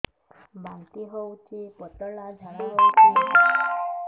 ବାନ୍ତି ହଉଚି ପତଳା ଝାଡା ହଉଚି